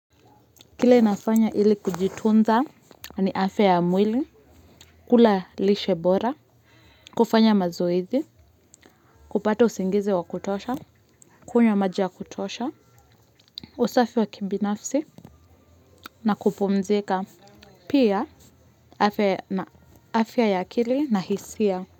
Kile nafanya ili kujitunza ni afya ya mwili, kula lishe bora, kufanya mazoezi, kupata usingizi wa kutosha, kunywa maji ya kutosha, usafi wa kibinafsi na kupumzika pia afya ya akili na hisia.